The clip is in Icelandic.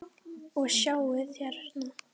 Og sjáið hérna!